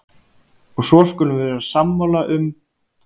Og svo skulum við vera sammála um